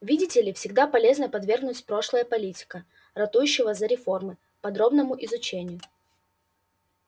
видите ли всегда полезно подвергнуть прошлое политика ратующего за реформы подробному изучению